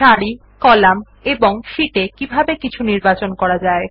সারি কলাম এবং শীটে কিভাবে কিছু নির্বাচন করা যায়